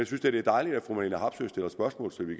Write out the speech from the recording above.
synes da det er dejligt at fru marlene harpsøe stiller spørgsmål så vi